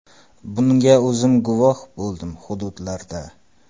Bunga o‘zim guvoh bo‘ldim hududlarda.